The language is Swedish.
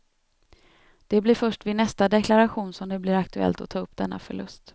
Det blir först vid nästa deklaration som det blir aktuellt att ta upp denna förlust.